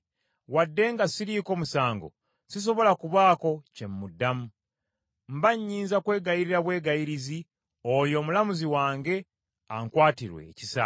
Wadde nga siriiko musango, sisobola kubaako kye muddamu, mba nnyinza kwegayirira bwegayirizi oyo Omulamuzi wange ankwatirwe ekisa.